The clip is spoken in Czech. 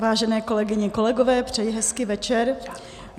Vážené kolegyně, kolegové, přeji hezký večer.